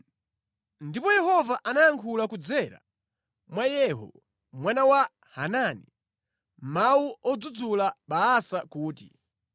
Ndipo Yehova anayankhula kudzera mwa Yehu mwana wa Hanani, mawu odzudzula Baasa kuti,